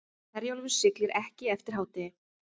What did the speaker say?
Herjólfur siglir ekki eftir hádegi